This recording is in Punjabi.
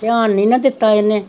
ਤੇਆਨ ਨੀ ਨਾ ਦਿਤਾ ਏਹਨੇ